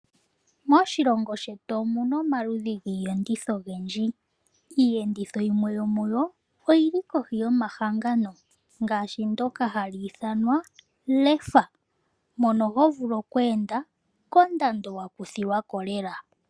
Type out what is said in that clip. Moshilongo shetu omu na omaludhi giiyenditho ogendji. Iiyenditho yimwe yo muyo oyili kohi yomahangano ngaashi ndoka hali ithanwa LEFA. Mono ho vulu oku enda kondando wa kuthilwa ko lela.